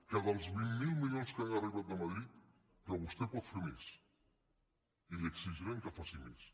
que dels vint miler milions que han arribat de madrid vostè pot fer més i li exigirem que faci més